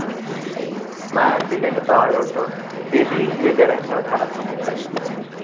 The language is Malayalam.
മാന്റിലിനു താഴോട്ടു ദ്വിതീയതരംഗങ്ങൾ കടക്കുന്നില്ല.